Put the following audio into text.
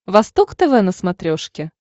восток тв на смотрешке